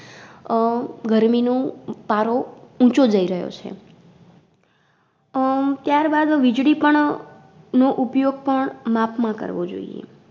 અમ ગરમી નું પારો ઊંચો જઈ રયો છે. અમ ત્યારબાદ વીજળી પણ નો ઉપયોગ પણ માપમાં કરવો જોઈએ.